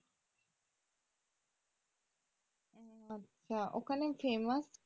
আচ্ছা ওখানে famous